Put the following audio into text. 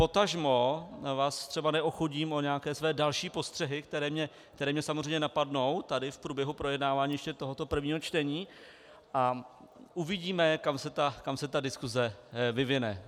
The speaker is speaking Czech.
Potažmo vás třeba neochudím o nějaké své další postřehy, které mě samozřejmě napadnou tady v průběhu projednávání ještě tohoto prvního čtení, a uvidíme, kam se ta diskuse vyvine.